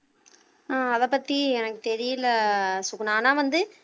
ஆஹ் அதைப் பத்தி எனக்கு தெரியல சுகுணா ஆனால் வந்து